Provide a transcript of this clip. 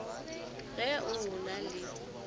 ge o o na le